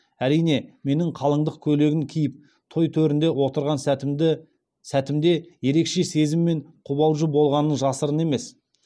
әрине менің қалыңдық көйлегін киіп той төрінде отырған сәтімді сәтімде ерекше сезім мен қобалжу болғаны жасырын емес